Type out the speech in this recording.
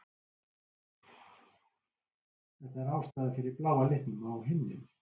Þetta er ástæðan fyrir bláa litnum á himninum.